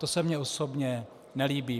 To se mně osobně nelíbí.